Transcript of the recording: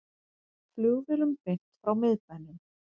Flugvélum beint frá miðbænum